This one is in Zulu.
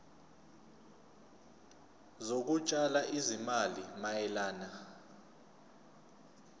zokutshala izimali mayelana